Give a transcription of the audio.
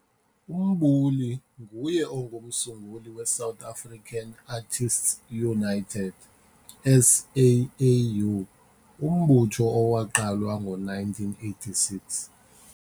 UMbuli nguye umsunguli we South African Artists United, SAAU, umbutho owaqalwa ngo 1986.